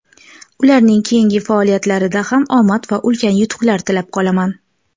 Ularning keyingi faoliyatlarida ham omad va ulkan yutuqlar tilab qolaman!.